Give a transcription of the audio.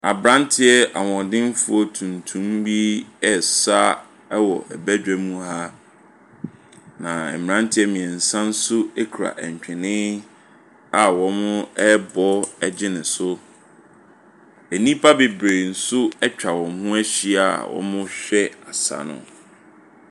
Aberanteɛ hoɔdemfoɔ tuntum bi resa wɔ badwam, na mmeranteɛ mmeɛnsa nso kura ntwene a wɔrebɔ gye no so. Nnipa bebree nso atwa wɔn ho ahyia a wɔrehwɛ asa no.